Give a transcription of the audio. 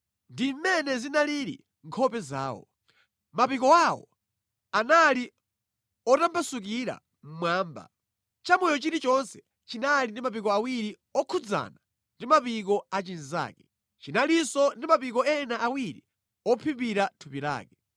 Ndi mʼmene zinalili nkhope zawo. Mapiko awo anali otambasukira mmwamba. Chamoyo chilichonse chinali ndi mapiko awiri okhudzana ndi mapiko a chinzake. Chinalinso ndi mapiko ena awiri ophimbira thupi lake.